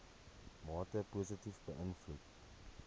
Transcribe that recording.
mate positief beïnvloed